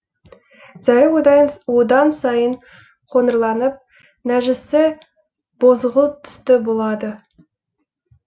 зәрі одан сайын қоңырланып нәжісі бозғылт түсті болады